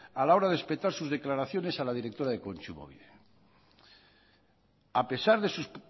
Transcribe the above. a la hora de espetar sus declaraciones a la directora de kontsumobide a pesar de sus